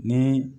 Ni